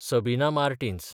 Sabina Martins